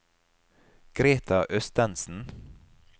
Greta Østensen